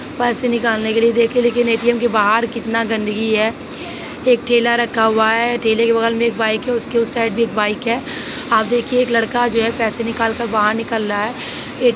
पैसे निकालने के लिए देखिए लेकिन एटीएम के बाहर कितना गंदगी है। एक ठेला रखा हुआ है ठेले के बगल मे एक बाइक है और उसके उस साइड मे भी एक बाइक है। आप देखिए एक लड़का जो है पैसे निकाल कर बाहर निकल रहा है। ए --